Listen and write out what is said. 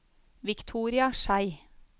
Victoria Schei